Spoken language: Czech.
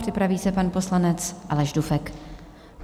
Připraví se pan poslanec Aleš Dufek.